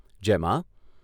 જેમાં